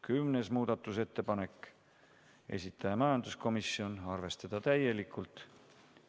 10. muudatusettepanek, esitaja majanduskomisjon, arvestada täielikult.